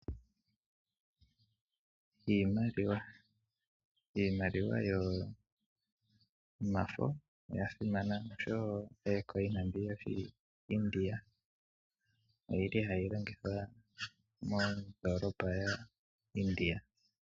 Iimaliwa Iimaliwa yomafo oya simana noshowo iimaliwa iikukutu yokoIndia ohayi longithwa mondoolopa yaIndia.